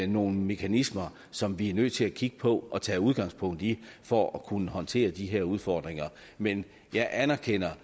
nogle mekanismer som vi er nødt til at kigge på og tage udgangspunkt i for at kunne håndtere de her udfordringer men jeg anerkender